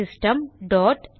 system dot